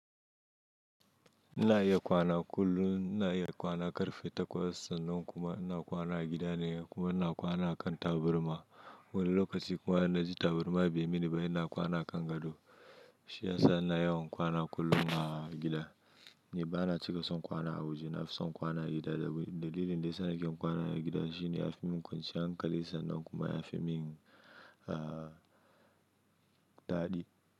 Ina iya kwana kullum, ina iya kwana karfe takwas sannan kuma ina kwana a gida ne kuma ina kwana a kan taburma. Wani lokaci kuma ina ji taburma bai mini ba ina kwana a kan gado. Shi ya sa ina yawan kwana kullum a gida. Ni ba na cika son kwana a waje, na fi son kwana a gida dalilin da ya sa nake kwana a gida shine ya fi min kwancinyan hankali sannan kuma ya fi min daɗi.